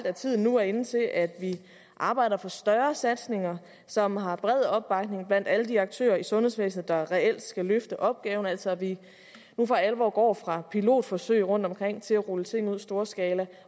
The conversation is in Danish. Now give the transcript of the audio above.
at tiden nu er inde til at vi arbejder for større satsninger som har bred opbakning blandt alle de aktører i sundhedsvæsenet der reelt skal løfte opgaven altså at vi nu for alvor går fra pilotforsøg rundtomkring til at rulle ting ud i storskala